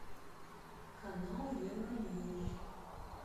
канал евроньюз